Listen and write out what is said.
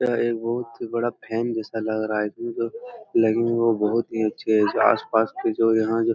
यह एक बहुत ही बड़ा फैन जैसा लग रहा लगी हुई है वो बहुत ही अच्छे है जो आस-पास के जो यहाँ जो --